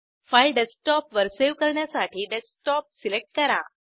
file डेस्कटॉपवर save करण्यासाठी desktop select करा